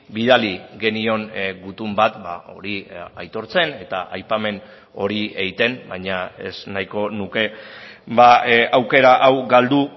bidali genion gutun bat hori aitortzen eta aipamen hori egiten baina ez nahiko nuke aukera hau galdu